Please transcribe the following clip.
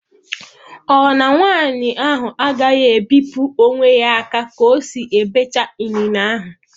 Ọ na nwanyị ahụ agaghị ebipụ onwe ya aka ka ọ si-ebecha inine ahụ?